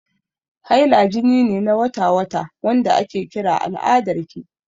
Haila jini ne na wata-wata, wanda ake kira al'adarki.